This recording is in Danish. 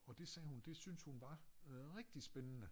Og det sagde hun det synes hun var rigtig spændende